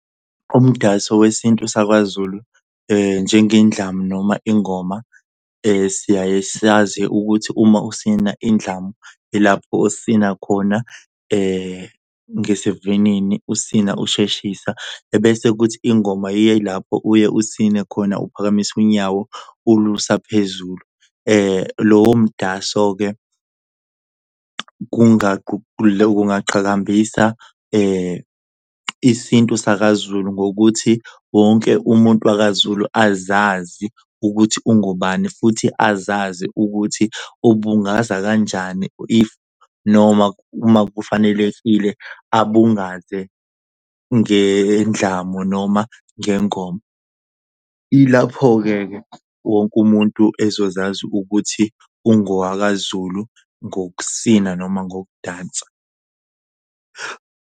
Umdanso wesintu sakwaZulu njengendlamu noma ingoma siyaye siyazi ukuthi uma usina indlamu, ilapho osina khona ngesivinini usina usheshisa, ebese kuthi ingoma yilapho uye usine khona uphakamise unyawo ulusa phezulu. Lowo mdaso-ke ungaqhakambisa isintu sakaZulu ngokuthi wonke umuntu wakaZulu azazi ukuthi ungubani futhi azazi ukuthi ubungaza kanjani if noma, uma kufanelekile abungaze ngendlamu noma ngengoma. Ilapho-ke ke wonke umuntu ezozazi ukuthi ungowakaZulu ngokusina noma ngokudansa.